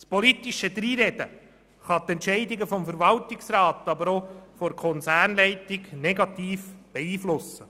Das politische Dreinreden kann die Entscheidungen des Verwaltungsrats, aber auch der Konzernleitung negativ beeinflussen.